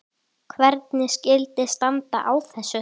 Hvernig skyldi standa á þessu?